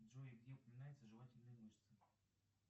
джой где упоминаются жевательные мышцы